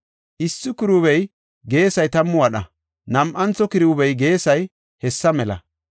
Issi kiruubiya geesay tammu wadha; nam7antho kiruubiya geesay hessa mela.